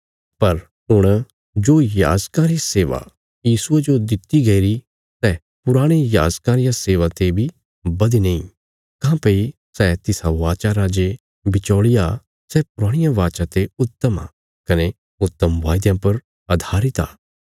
पर हुण जो याजकां री सेवा यीशुये जो दित्ति गईरी सै पुराणे याजकां रिया सेवा ते बी बधीने इ काँह्भई सै तिसा वाचा रा जे बिचौल़िया सै पुराणिया वाचा ते उत्तम आ कने उत्तम वायदयां पर अधारित आ